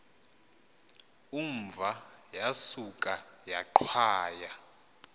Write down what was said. umva yasuka yaqhwaya